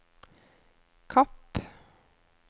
Kapp